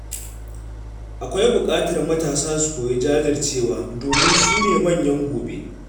Akwai buƙatar matasa su koyi jajircewa domin su ne manyan gobe.